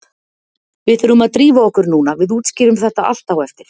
Við þurfum að drífa okkur núna, við útskýrum þetta allt á eftir.